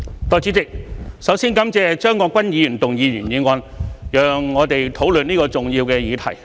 代理主席，首先感謝張國鈞議員動議原議案，讓我們可討論這個重要的議題。